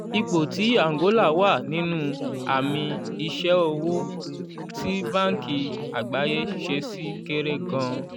ipò tí àǹgólà wà nínú àmì iṣẹ́ òwò tí báńkì àgbáyé ṣe ṣì kéré gan-an.